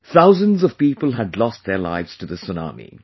Thousands of people had lost their lives to this tsunami